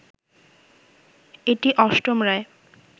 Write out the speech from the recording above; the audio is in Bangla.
এটি অষ্টম রায়